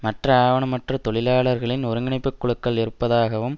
மற்ற ஆவணமற்ற தொழிலாளர்களின் ஒருங்கிணைப்பு குழுக்கள் இருப்பதாகவும்